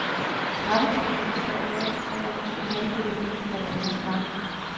Trappetrinnene består hver især af to halvdele, der danner par.